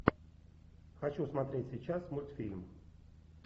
хочу смотреть сейчас мультфильм